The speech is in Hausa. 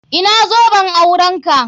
Ina zoben aurenka?